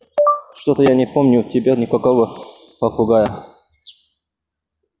что-то я не помню у тебя никакого попугая